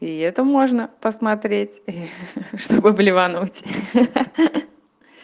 и это можно посмотреть чтобы блевануть ахах